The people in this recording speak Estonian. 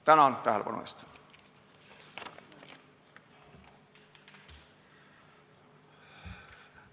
Tänan tähelepanu eest!